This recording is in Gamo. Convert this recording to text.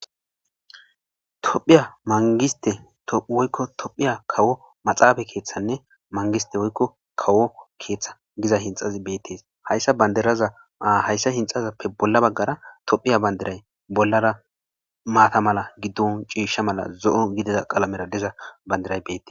tophiya mangiste woykko tophiya kawo maxaaba keeththanne mangiste woykko kawo keeththa giza hinxazi beettees hayssa bandirazaa hayssa hinxazappe bolla baggara tophiya bandiray bollara maata mala giddon ciisha mala zo'o gidida qalamera diza bandiray beete